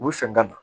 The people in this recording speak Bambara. U sɔn ka don